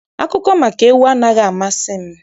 Akụkọ maka ewu anaghị amasị m.